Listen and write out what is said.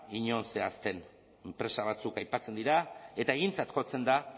inon zehazten enpresa batzuk aipatzen dira eta egintzat jotzen da